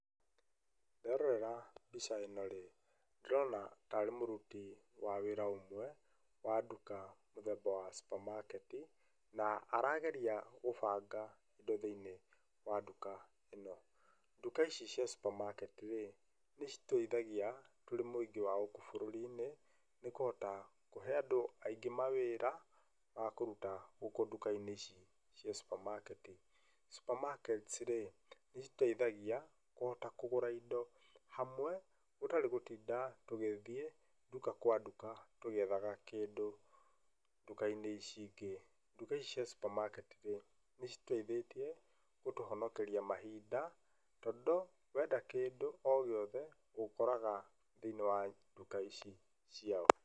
Nderorera mbica ĩno-rĩ, ndĩrona ta arĩ mũruti wa wĩra ũmwe wa nduka mũthemba wa supermarket na arageria gũbanga indo thĩinĩ wa nduka ĩno. Nduka ici cia cs] supermarket -rĩ nĩ citũithagia tũrĩ mũingĩ wa bũrũri-nĩ nĩ kũhota kũhe andũ aingĩ mawĩra wakũruta gũkũ nduka-inĩ ici cia supermarket. supermarkets -rĩ nĩ citũteithagia kũhota kũgũra indo hamwe gũtarĩ gũtinda tũgĩthiĩ nduka kwa nduka tũgĩethaga kĩndũ nduka-inĩ ici ingĩ. Nduka ici cia supermarket -rĩ nĩ citũteithĩtie gũtũhonokeria mahinda tondũ wenda kĩndũ o gĩothe ũkoraga thĩinĩ wa nduka ici ciao.